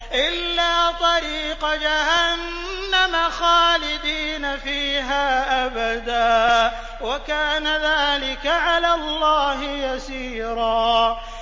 إِلَّا طَرِيقَ جَهَنَّمَ خَالِدِينَ فِيهَا أَبَدًا ۚ وَكَانَ ذَٰلِكَ عَلَى اللَّهِ يَسِيرًا